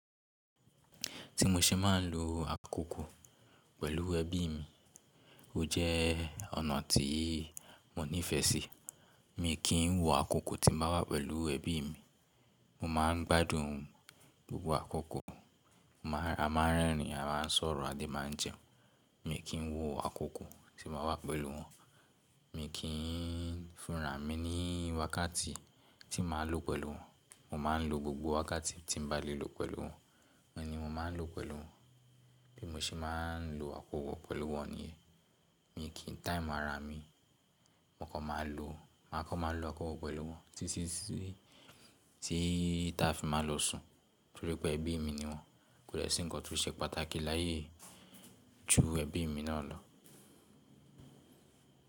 Tí mo ṣe máa ń lo àkókò pẹ̀lú ẹbí mi, ó jẹ́ ọ̀nà tí mo nífẹ̀ẹ́ sí. Mi kì í wo àkókò tí mo wà pẹ̀lú ẹbí mi. Mo máa ń gbádùn gbogbo àkókò. A máa ń rẹ́rìn-ín, a máa ń sọ̀rọ̀, a máa ń jẹun. Mi kì í wo àkókò tí mo wà pẹ̀lú wọn. Mi kì í fúnra mi ní wákàtí tí màá lo pẹ̀lú wọn. Mo máa ń lo gbogbo wákàtí tí mo bá lè lò pẹ̀lú wọn. Wọ́n ni mo máa ń lò pẹ̀lú wọn. Bí mo ṣe máa ń lo àkókò pẹ̀lú wọn ni, mi kì í táìm̀ ara mi. Mo kọ́ máa lo maa ko ma lo àkókò pẹ̀lú wọn títí sí tí ta fi máa lọ sùn, torí pé ẹbí mi ni wọ́n. Kò de sí ǹkan tó ṣe pàtàkì láyé ju ẹbí mi náà lọ.